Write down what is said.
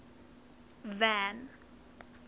van